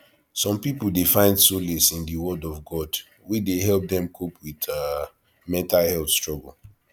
some people dey find solace in di word of god wey dey help dem cope with um mental health struggle